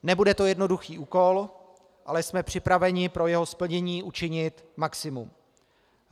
Nebude to jednoduchý úkol, ale jsme připraveni pro jeho splnění učinit maximum.